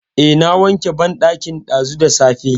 Eh, na wanke banɗakin ɗazu da safe.